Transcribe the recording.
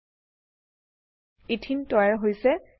এথেনে ethyne তৈয়াৰ হৈছে